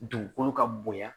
Dugukolo ka bonya